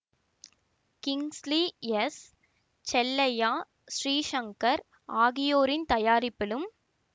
Kingsley S Chellaiah Sri Shankar ஆகியோரின் தயாரிப்பிலும்